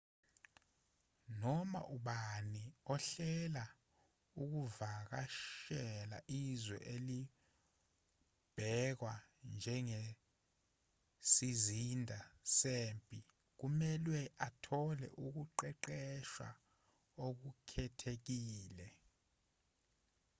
noma ubani ohlela ukuvakashela izwe elizobhekwa njengesizinda sempi kumelwe athole ukuqeqeshwa okukhethekile